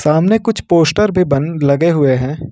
सामने कुछ पोस्टर पे बन लगे हुए हैं।